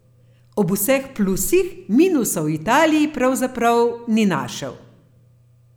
Ob vseh plusih minusov v Italiji pravzaprav ni našel.